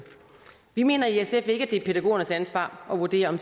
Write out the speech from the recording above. vi mener i sf ikke at det er pædagogernes ansvar at vurdere